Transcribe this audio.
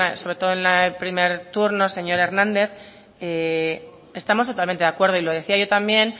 sobre todo en el primer turno señor hernández estamos totalmente de acuerdo y lo decía yo también